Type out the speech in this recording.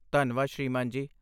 ਧੰਨਵਾਦ ਸ੍ਰੀਮਾਨ ਜੀ।